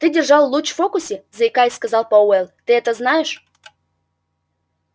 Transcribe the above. ты держал луч в фокусе заикаясь сказал пауэлл ты это знаешь